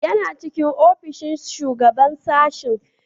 Yana cikin ofishin Shugaban Sashen.